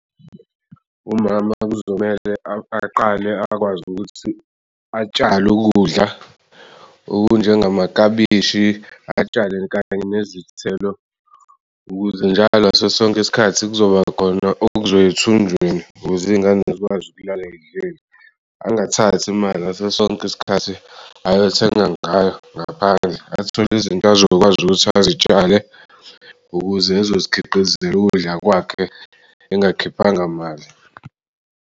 Umama kuzomele aqale akwazi ukuthi atshale ukudla okunjengamakabishi, atshale kanye nezithelo ukuze njalo ngaso sonke isikhathi kuzobakhona okuzoya ethunjini ukuze iy'ngane zikwazi ukulala zidlile. Angathathi imali ngaso sonke isikhathi ayothenga ngayo ngaphandle athole izinto azokwazi ukuthi azitshale ukuze ezozikhiqizela ukudla kwakhe engakhiphanga mali.